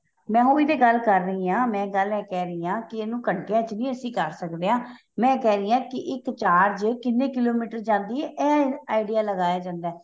ਮੈਂ ਉਹੀ ਤੇ ਗੱਲ ਕਰ ਰਹੀ ਹਾਂ ਮੈਂ ਗੱਲ ਏ ਕਹਿ ਰਹੀ ਹਾਂ ਕਿ ਇਹਨੂੰ ਘੰਟੀਆਂ ਚ ਵੀ ਅਸੀਂ ਕਰ ਸਕਦੇ ਹਾਂ ਮੈਂ ਏਹ ਕਹਿ ਰਹੀ ਹਾਂ ਕੀ ਇੱਕ charge ਕਿੰਨੇ ਕਿਲੋਮੀਟਰ ਜਾਂਦੀ ਏ ਏਹ idea ਲਗਾਇਆ ਜਾਂਦਾ ਏ